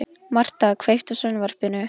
Marta, kveiktu á sjónvarpinu.